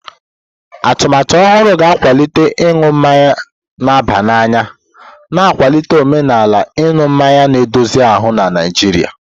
Atụmatụ ọhụrụ ga-akwalite ịṅụ mmanya na-aba n'anya, na-akwalite omenala ịṅụ mmanya na-edozi ahụ na Naijiria.